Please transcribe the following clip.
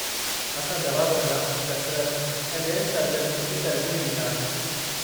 असां दवा बदिरां कसरत ऐं बि॒यनि सरगर्मियुनि खे तरजीह ॾींदा आहियूं।